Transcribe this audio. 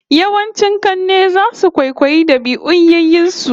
Yawancin kanne zasu kwaikwayi dabi'un yayyen su